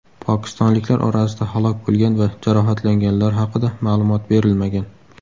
Pokistonliklar orasida halok bo‘lgan va jarohatlanganlar haqida ma’lumot berilmagan.